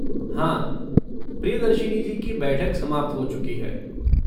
हाँ, प्रिदर्शिनी जी की बैठक समाप्त हो चुकी है।